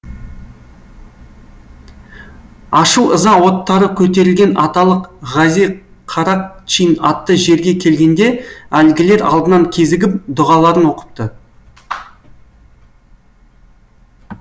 ашу ыза оттары көтерілген аталық ғази қарақчин атты жерге келгенде әлгілер алдынан кезігіп дұғаларын оқыпты